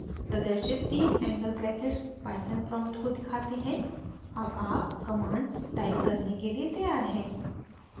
प्रदर्शित the angle brackets python prompt को दिखाते हैं अब आप commands type करने के लिए तैयार हैं